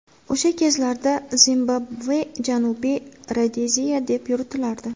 O‘sha kezlarda Zimbabve Janubiy Rodeziya deb yuritilardi.